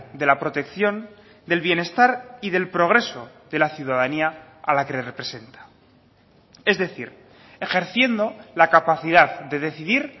de la protección del bienestar y del progreso de la ciudadanía a la que representa es decir ejerciendo la capacidad de decidir